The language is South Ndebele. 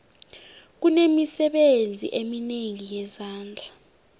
kunemisebenzi eminengi yezandla